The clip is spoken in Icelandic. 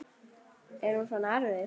Er hún svona erfið?